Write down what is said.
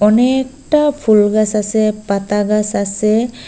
অনেকটা ফুলগাস আসে পাতাগাস আসে।